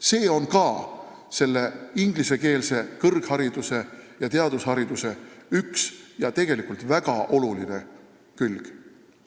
See on ka selle ingliskeelse kõrghariduse ja teadustöö üks ja tegelikult väga olulisi külgi.